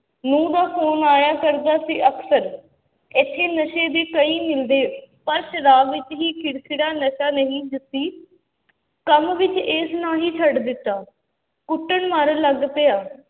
ਨਹੁੰ ਦਾ phone ਆਇਆ ਕਰਦਾ ਸੀ ਅਕਸਰ, ਇੱਥੇ ਨਸ਼ੇ ਵੀ ਕਈ ਮਿਲਦੇ, ਪਰ ਸ਼ਰਾਬ ਵਿੱਚ ਹੀ ਖਿਰਖਿਰਾ ਨਸ਼ਾ ਨਹੀਂ ਜੱਸੀ ਕੰਮ ਵਿੱਚ ਇਸ ਨਾ ਹੀ ਛੱਡ ਦਿੱਤਾ, ਕੁੱਟਣ ਮਾਰਨ ਲੱਗ ਪਿਆ,